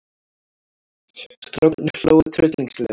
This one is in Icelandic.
Strákarnir hlógu tryllingslega.